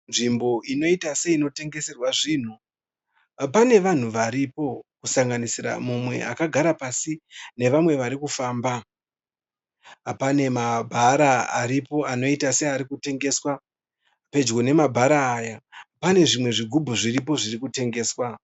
Nzvimbo inoita seinotengeserwa zvinhu. Pane vanhu varipo kusanganisira mumwe akagara pasi navamwe vari kufamba. Pane mabhara aripo anoita seari kutengeswa. Pedyo nemabhara aya pane zvimwe zvigubhu zviripo zviri kutengeswa.